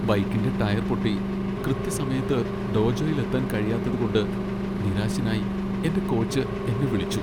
ബൈക്കിന്റെ ടയർ പൊട്ടി കൃത്യസമയത്ത് ഡോജോയിൽ എത്താൻ കഴിയാത്തതു കൊണ്ട് നിരാശനായി എന്റെ കോച്ച് എന്നെ വിളിച്ചു.